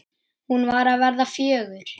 Hún var að verða fjögur.